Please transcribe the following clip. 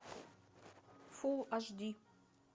фул аш ди